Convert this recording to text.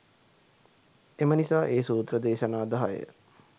එම නිසා ඒ සූත්‍ර දේශනා දහය